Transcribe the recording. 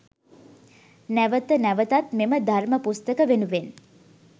නැවත නැවතත් මෙම ධර්ම පුස්තක වෙනුවෙන්